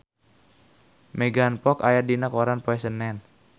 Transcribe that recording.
Megan Fox aya dina koran poe Senen